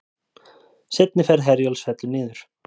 Seinni ferð Herjólfs fellur niður